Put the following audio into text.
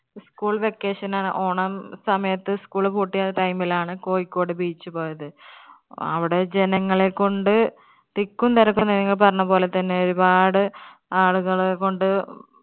school vacation ആണ് ഓണം സമയത്ത് അഹ് school പൂട്ടിയ time ൽ ആണ് കോഴിക്കോട് beach പോയത്. അവിടെ ജനങ്ങളെ കൊണ്ട് തിക്കും തിരക്കും നിങ്ങൾ പറഞ്ഞ പോലെ തന്നെ ഒരുപാട് ആളുകളെ കൊണ്ട്